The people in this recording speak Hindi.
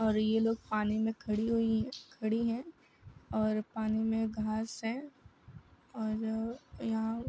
और ये लोग पानी में खड़ी हुई खड़ी हैं और पानी में घास हैं और यहाँ --